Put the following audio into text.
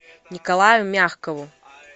николаю мягкову